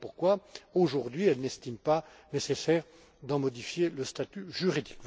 Voilà pourquoi, aujourd'hui, elle n'estime pas nécessaire d'en modifier le statut juridique.